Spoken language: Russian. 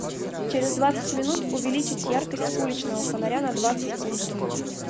через двадцать минут увеличить яркость уличного фонаря на двадцать пунктов